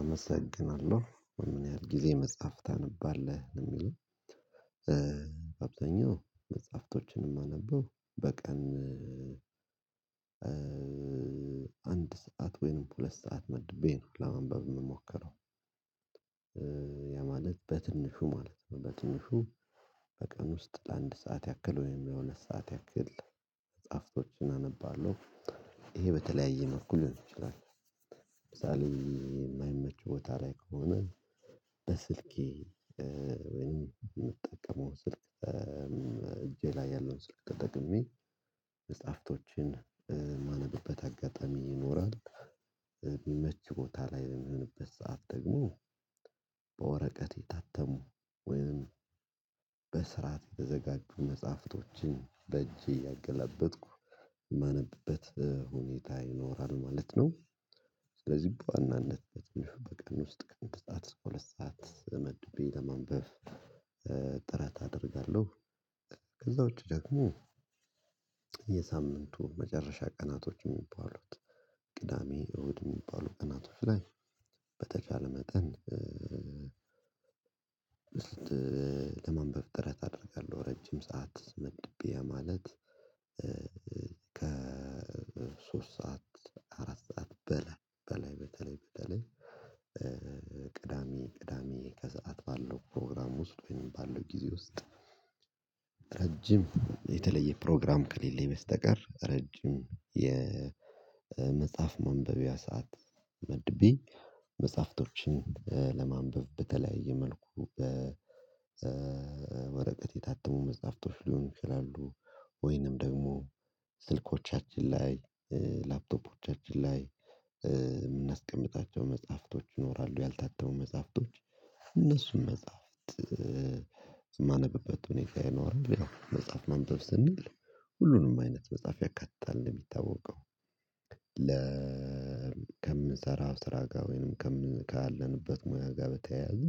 አመሰግናለሁ ምን ያህል ጊዜ መጽሐፍ ታነባለህ? የሚል አብዛኛው መጽሐፍቶችንም የማነበው በቀን አንድ ሰዓት ወይንም ሁለት ሰዓት መድቤ ነው ለማንበብ የምሞከረው ያ ማለት በትንሹ ማለት ነው። በትንሹ በቀን ውስጥ ለአንድ ሰዓት ያክል ወይም ለሁለት ሰዓት ያክል መጽሐፍቶችን አነባለሁ። ይሄ በተለያየ መልኩ ሊሆን ይችላል። ለምሳሌ የማይመች ቦታ ላይ ከሆነ በስልኬ ወይም የምጠቀመው ስልክ እጄ ላይ ያለውን ስልክ ተጠቅሜ መጽሐፍቶችን የማነብበት አጋጣሚ ይኖራል። የሚመች ቦታ ላይ የሚሆንበት ሰዓት ደግሞ በወረቀት የታተሙ ወይንም በስርዓት የተዘጋጁ መጽሐፍቶችን በእጄ እያገለበጥኩ የማነብበት ሁኔታ ይኖራል ማለት ነው። ስለዚህ በዋናነት ውስጥከአንድ ሰዓት እስከ ሁለት ሰዓት መድቤ ለማንበብ ጥረት አደርጋለሁ። ከዛ ውጪ ደግሞ የሳምንቱ መጨረሻ ቀናቶች የሚባሉት ቅዳሜ እሁድ የሚባሉት ቀናቶች ላይ በተቻለ መጠን ለማንበብ ጥረት አደርጋለሁ። ረጅም ሰዓት መድቤ ማለት ከሶስት ሰዓት አራት ሰዓት በላይ በተለይ በተለይ ቅዳሜ ቅዳሜ ከሰአት ባለው ፕሮግራም ውስጥ ወይም ባለው ጊዜ ውስጥ። ረጅም የተለየ ፕሮግራም ከሌለኝ በስተቀር ረጅም የመጽሐፍ ማንበቢያ ሰዓት መድቤ መጽሐፍቶችን ለማንበብ በተለያየ መልኩ በወረቀት የታተሙ መጽሐፍቶች ሊሆን ይችላሉ። ወይንም ደግሞ ስልኮቻችን ላይ ላፕቶፖቻችን ላይ የምናስቀምጣቸው መጽሐፍቶች ይኖራሉ ያልታተሙ መጽሐፍቶች እነሱን መጽሐፍት የማነብበት ሁኔታ ይኖራል። መጽሐፍ ማንበብ ስንል ሁሉንም አይነት መጽሐፍ ያካትታል ነው የሚታወቀው። ለ ከምንሰራው ስራ ጋር ወይንም ከምን ካለንበት ሙያ ጋር በተያያዘ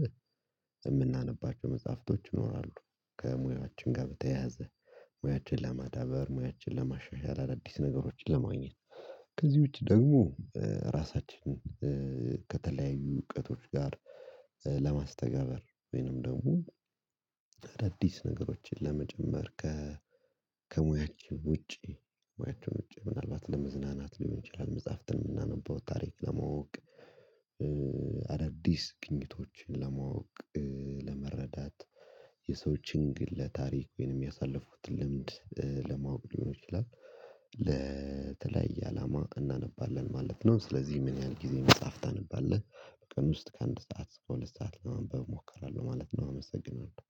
የምናነባቸው መጽሐፍቶች ይኖራሉ። ከሙያችን ጋር በተያያዘ ሙያችን ለማዳበር ሙያችን ለማሻሻል አዳዲስ ነገሮችን ለማግኘት ከዚህ ውጪ ደግሞ ራሳችንን ከተለያዩ እውቀቶች ጋር ለማስተጋበር ወይንም ደግሞ አዳዲስ ነገሮችን ለመጨመር ከ ከሙያችን ውጪ ሙያችን ውጪ ምናልባት ለመዝናናት ሊሆን ይችላል። መጽሐፍትን የምናነበው ታሪክ ለማወቅ አዳዲስ ግኝቶችን ለማወቅ ለመረዳት የሰዎችን ግለ ታሪክ ወይንም ያሳለፉትን ልምድ ለማወቅ ሊሆን ይችላል ለተለያየ አላማ እናነባለን ማለት ነው። ስለዚህ ምን ያህል ጊዜ መጽሐፍ ታነባለህ? በቀን ውስጥ ከአንድ ሰዓት እስከ ሁለት ሰዓት ለማንበብ እሞክራለሁ ማለት ነው። አመሰግናለሁ